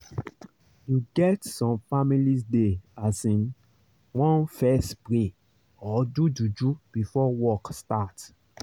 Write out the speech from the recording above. you get some families dey asin want fess pray or do juju before work start